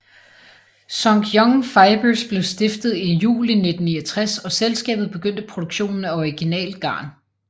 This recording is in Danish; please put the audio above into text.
Sunkyung Fibers blev stiftet i juli 1969 og selskabet begyndte produktionen af originalt garn